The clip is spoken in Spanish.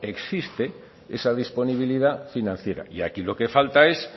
existe esa disponibilidad financiera y aquí lo que falta es